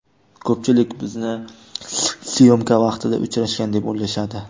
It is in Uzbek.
Ko‘pchilik bizni syomka vaqtida uchrashgan, deb o‘ylashadi.